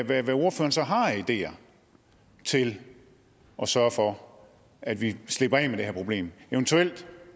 hvad ordføreren så har af ideer til at sørge for at vi slipper af med det her problem